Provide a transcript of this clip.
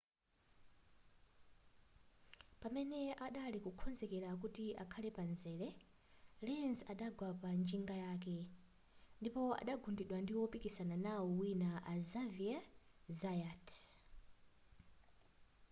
pamene adali kukonzekera kuti akhale pamzere lenz adagwa panjinga yake ndipo adagundidwa ndi wopikisana nawo wina a xavier zayat